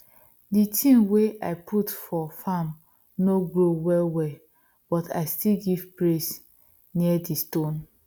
d tin wey i put for farm no grow well well but i still give praise near di stone